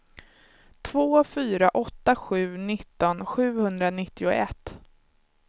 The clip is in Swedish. två fyra åtta sju nitton sjuhundranittioett